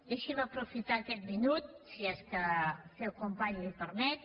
deixi’m aprofitar aquest minut si és que el seu company li ho permet